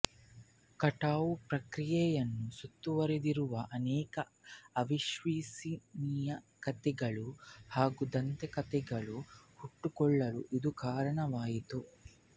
ಕಟಾವು ಪ್ರಕ್ರಿಯೆಯನ್ನು ಸುತ್ತುವರೆದಿರುವ ಅನೇಕ ಅವಿಶ್ವಸನೀಯ ಕಥೆಗಳು ಹಾಗೂ ದಂತಕಥೆಗಳು ಹುಟ್ಟಿಕೊಳ್ಳಲು ಇದು ಕಾರಣವಾಯಿತು